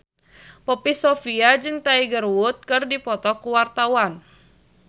Poppy Sovia jeung Tiger Wood keur dipoto ku wartawan